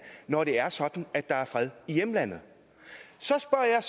når det er sådan at der er fred i hjemlandet så spørger jeg